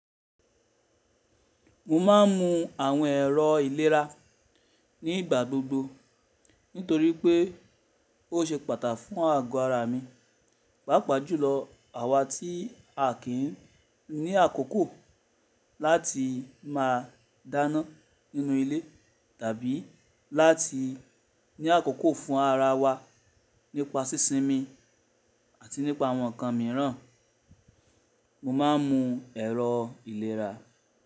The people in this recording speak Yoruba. Mo ma ń mú àwọn ẹ̀rọ ìlera ní ìgbà gbogbo nítorí pé ó ṣe pàtà fún àgó ara mi. Pàápàá jùlọ àwa tí a kì í ní àkókò láti máa dáná nínú ilé tàbí láti ní àkókò fún ara wa nípa sísinmi àti nípa àwọn nǹkan mìíràn. Mo máa ń mu ẹ̀rọ ìlera.